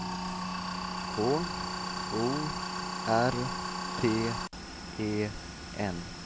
K O R T E N